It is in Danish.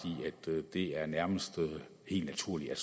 i at det nærmest er helt naturligt at